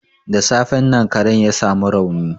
Da safen nan karen ya sa mu rauni.